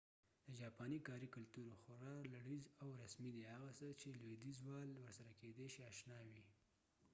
د جاپاني کاري کلتور خورا لړيز او رسمي دی هغه څه چې لویدیځوال ورسره کيدې شي اشنا وي